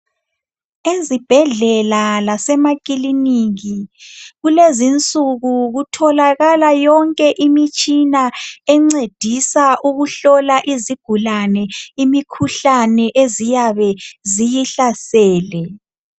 Ezibhedlela lasemakiloniki, kulezinsuku kutholakala yonke imitshina encedisa ukuhlola izigulane imikhuhlane eziyabe ziyihlasele